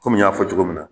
Komi n y'a fɔ cogo min na